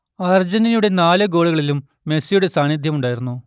അർജന്റീനയുടെ നാല് ഗോളുകളിലും മെസ്സിയുടെ സാന്നിധ്യമുണ്ടായിരുന്നു